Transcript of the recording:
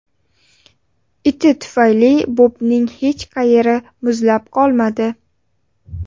Iti tufayli Bobning hech qayeri muzlab qolmadi.